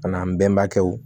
A n'an bɛnbakɛw